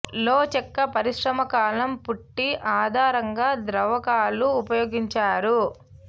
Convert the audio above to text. లో చెక్క పరిశ్రమ కాలం పుట్టీ ఆధారంగా ద్రావకాలు ఉపయోగించారు